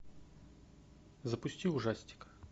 запусти ужастик